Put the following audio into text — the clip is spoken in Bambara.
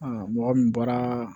mɔgɔ min bɔra